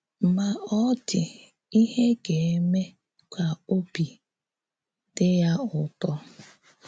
Ma ọ dị íhè gà-émè ka òbì dị ya ụ̌́tọ́.